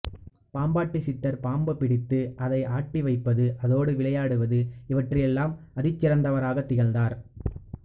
பாம்பாட்டி சித்தர் பாம்பு பிடித்து அதை ஆட்டிவைப்பது அதோடு விளையாடுவது இவற்றில் எல்லாம் அதிசிறந்தவராகத் திகழ்ந்தார்